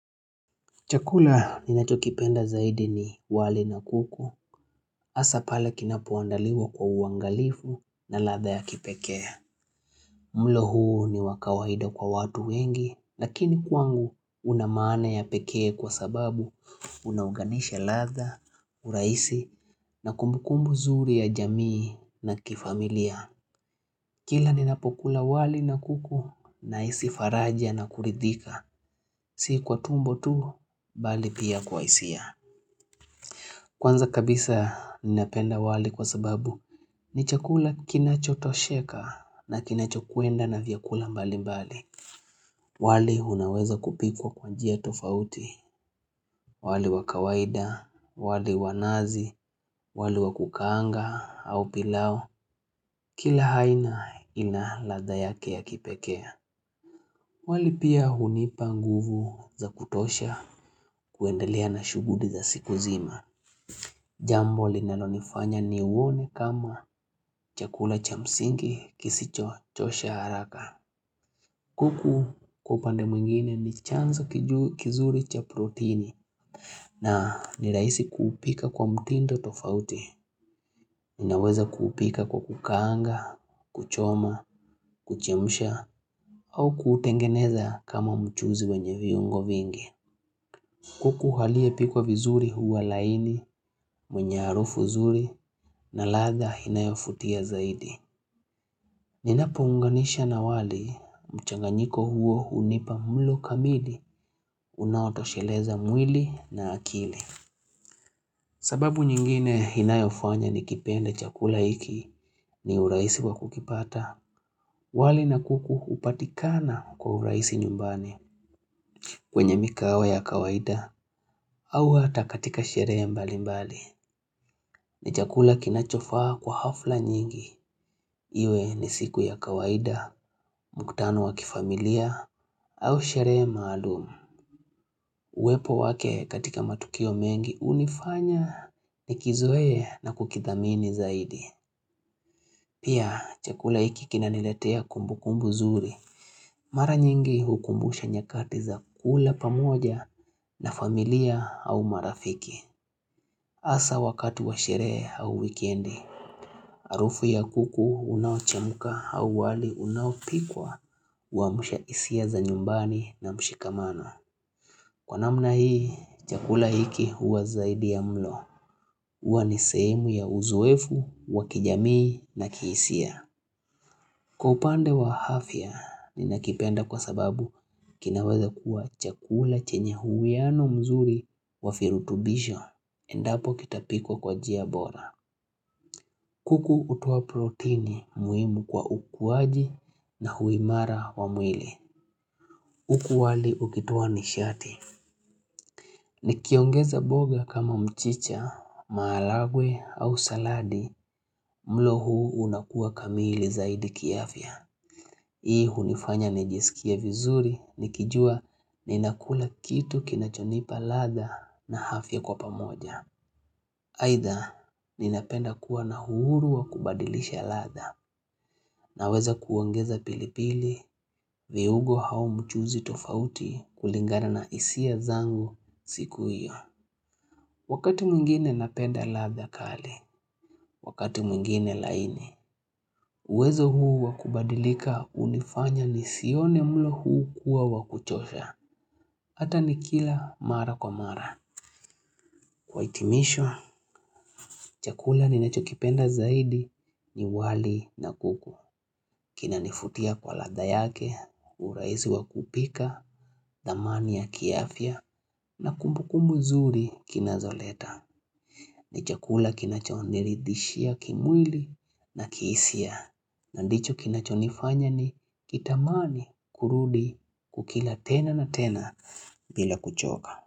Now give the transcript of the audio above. Chakula ninacho kipenda zaidi ni wali na kuku, hasa pale kinapoandaliwa kwa uangalifu na ladha ya kipekea. Mlo huu ni wa kawaida kwa watu wengi, lakini kwangu una maana ya pekee kwa sababu unaunganisha ladha, urahisi na kumbukumbu zuri ya jamii na kifamilia. Kila ni napokula wali na kuku nahisi faraja na kuridhika, si kwa tumbo tu, bali pia kwa hisia. Kwanza kabisa ninapenda wali kwa sababu ni chakula kinachotosheka na kinachokwenda na vyakula mbali mbali. Wali unaweza kupikwa kwa njia tofauti. Wali wa kawaida, wali wa nazi, wali wa kukaanga au pilau. Kila aina inaladha yake ya kipekee. Wali pia hunipa nguvu za kutosha kuendelea na shughuli za siku zima. Jambo linanonifanya ni uone kama chakula cha msingi kisicho chosha haraka. Kuku kwa upande mwingine ni chanzi kizuri cha protini na ni rahisi kupika kwa mtindo tofauti. Ninaweza kupika kwa kukaanga, kuchoma, kuchemsha au kutengeneza kama mchuzi wenye viungo vingi. Kuku aliyepikwa vizuri huwa laini, mwenye harufu zuri, na ladha inayovutia zaidi. Ninapounganisha na wali, mchanganyiko huo hunipa mlo kamili, unaotosheleza mwili na akili. Sababu nyingine inayofanya nikipende chakula iki ni urahisi kwa kukipata, wali na kuku hupatikana kwa urahisi nyumbani. Kwenye mikao ya kawaida au hata katika sherehe mbali mbali. Ni chakula kinachofaa kwa hafla nyingi. Iwe ni siku ya kawaida, mukutano wa kifamilia au sherehe maalumu. Uwepo wake katika matukio mengi hunifanya ni kizoe na kukithamini zaidi. Pia chakula hiki kinaniletea kumbukumbu zuri. Mara nyingi hukumbusha nyakati za kula pamoja na familia au marafiki. Hasa wakati wa sherehe au wikendi, harufu ya kuku unaochemka au wali unaopikwa wa amsha hisia za nyumbani na mshikamano. Kwa namna hii, chakula hiki huwa zaidi ya mlo. Huwa ni sehemu ya uzoefu, wa kijamii na kihisia. Kwa upande wa afya ninakipenda kwa sababu kinaweza kuwa chakula chenye uwiano mzuri wa virutubisho endapo kitapikwa kwa njia bora. Kuku hutoa protini muhimu kwa ukuwaji na huwa imara wa mwili. Huku wali ukitoa nishati. Nikiongeza mboga kama mchicha, maharagwe au saladi mlo huu unakuwa kamili zaidi kiafya. Hii hunifanya nijisikie vizuri nikijua ninakula kitu kinachonipa ladha na afya kwa pamoja. Aidha ninapenda kuwa na uhuru wa kubadilisha ladha na kuweza kuongeza pili pili viungo hao mchuuzi tofauti kulingana na hisia zangu siku hiyo. Wakati mwingine napenda ladha kali, wakati mwingine laini, uwezo huu wakubadilika hunifanya nisione mlo huu kuwa wakuchosha. Hata ni kila mara kwa mara. Kwa hitimisho, chakula ninachokipenda zaidi ni wali na kuku. Kinanivutia kwa latha yake, urahisi wa kupika, dhamani ya kiafya, na kumbukumbu zuri kinazoleta. Ni chakula kinachoniridishia kimwili na kihisia na ndicho kinachonifanya ni kitamani kurudi kukila tena na tena bila kuchoka.